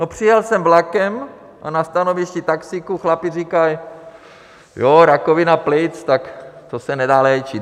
No, přijel jsem vlakem a na stanovišti taxíku chlapi říkají: Jo, rakovina plic, tak to se nedá léčit.